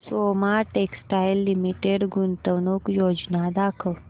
Soma textile limited गुंतवणूक योजना दाखव